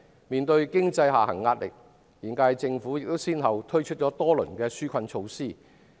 面對經濟下行壓力，現屆政府亦先後推出多輪紓困措施。